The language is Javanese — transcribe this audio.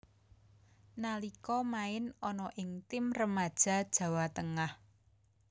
Nalika main ana ing tim remaja Jawa Tengah